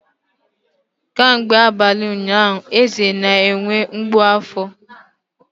Kemgbe abalị ụnyaahụ, Eze na-enwe mgbu afọ.